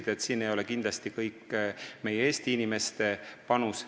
Nii et siin ei ole kindlasti ainult Eesti inimeste panus.